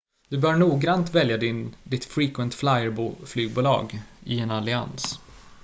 du bör noggrant välja ditt frequent flyer-flygbolag i en allians